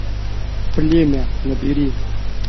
племя набери